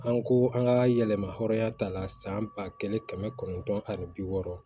An ko an ka yɛlɛma hɔrɔnya ta la san ba kelen kɛmɛ kɔnɔntɔn ani bi wɔɔrɔ